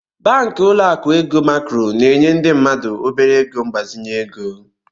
Banklọ akụ ego Macro na-enye ndị mmadụ obere ego mgbazinye ego.